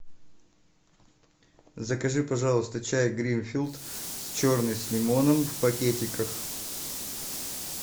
закажи пожалуйста чай гринфилд черный с лимоном в пакетиках